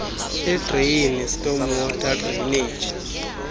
edreyini stormwater drainage